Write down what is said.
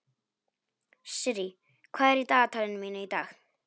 Sirrý, hvað er í dagatalinu mínu í dag?